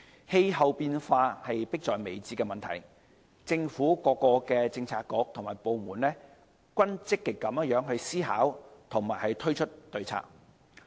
氣候變化是迫在眉睫的問題，政府各政策局和部門均積極思考和推出對策。